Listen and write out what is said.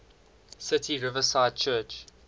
city riverside church